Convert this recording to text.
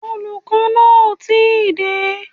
Olùkọ́ náà ò tí ì dé